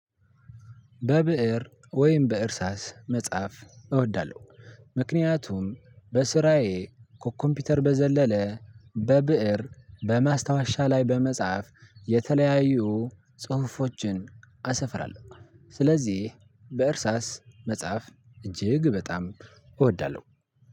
በብእር ወይም በእርሳስ መጻፍ እወዳለሁ። ምክንያቱም በስራዬ ከኮምፒውተር በዘለለ በብእር በማስታወሻ ላይ በመጻፍ የተለያዩ ጽሁፎችን አሰፍራለሁ። ስለዚህ በእርሳስ መጻፍ እጅግ በጣም እወዳለሁ።